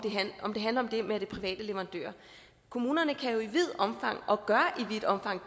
det handler om det med at det er private leverandører kommunerne kan jo i vidt omfang